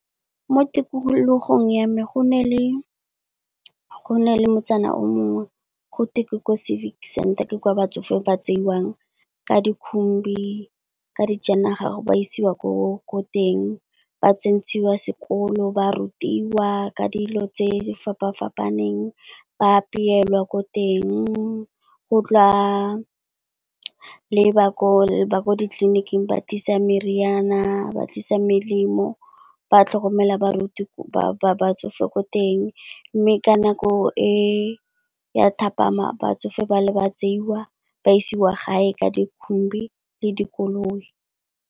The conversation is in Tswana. Mo tikologong ya me go nale motsana o mongwe gotwe ko Civic center ke kwa batsofe ba tseiwang ka di khumbi, ka dijanaga ba isiwa ko teng. Ba tsentshiwa sekolo, ba rutiwa ka dilo tse di fapa-fapaneng, ba apelwa ko teng. Go tla le ba ko ditleliniking ba tlisa meriana, ba tlisa melemo, ba tlhokomela batsofe ko teng, mme ka nako e ya thapama, batsofe ba tseiwa ba isiwa gae ka di khumbi le dikoloi.